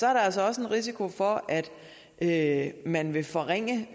er der altså også risikoen for at man vil forringe